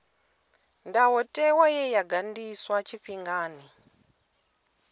ndayotewa ye ya ganḓiswa tshifhingani